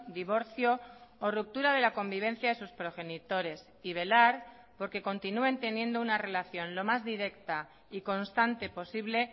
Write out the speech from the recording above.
divorcio o ruptura de la convivencia de sus progenitores y velar porque continúen teniendo una relación lo más directa y constante posible